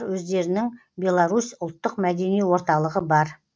өздерінің беларусь ұлттық мәдени орталығы бар